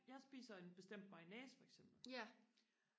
jeg spiser en bestemt mayonnaise for eksempel